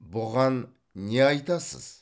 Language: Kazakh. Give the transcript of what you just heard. бұған не айтасыз